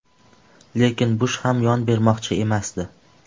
Lekin Bush ham yon bermoqchi emasdi.